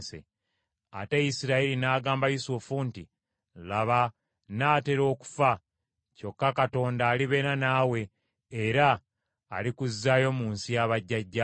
Ate Isirayiri n’agamba Yusufu nti, “Laba, nnaatera okufa, kyokka Katonda alibeera naawe era alikuzzaayo mu nsi ya bajjajjaabo.